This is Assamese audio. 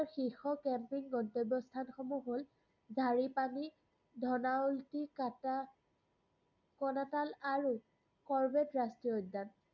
ইয়াৰ শীৰ্ষ camping গন্তব্যস্থানসমূহ হ'ল -ধাৰিপানী, ধনাউলতিকাটা, কোনাতাল, আৰু কৰ্বেট ৰাষ্ট্ৰীয় উদ্যান।